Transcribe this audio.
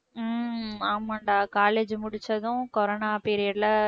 உம் ஆமாம்டா college முடிச்சதும் corona period ல